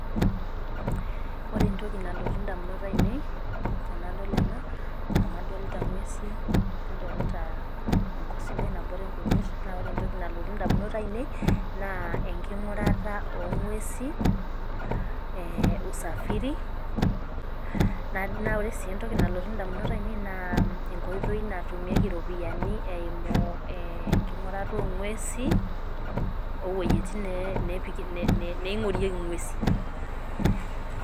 Ore entoki nalotu indamunot ainei tenadol ena, amu adolita ng'uesi, nadolita enkop sidai nabore nkujit, na ore entoki nalotu indamunot ainei, naa enking'urata ong'uesi, eh usafiri, na ore si entoki nalotu indamunot ainei naa, enkoitoi natumieki ropiyiani eimu enking'urata ong'uesi, owuejiti neing'orieki ng'uesi.